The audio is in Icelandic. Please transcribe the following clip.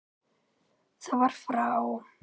Það var frá